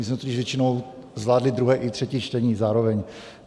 My jsme totiž většinou zvládli druhé i třetí čtení zároveň.